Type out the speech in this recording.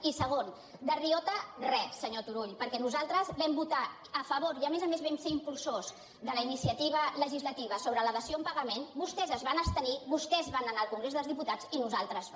i segon de riota res senyor turull perquè nosaltres vam votar a favor i a més a més vam ser impulsors de la iniciativa legislativa sobre la dació en pagament vostès es van abstenir vostès van anar al congrés dels diputats i nosaltres no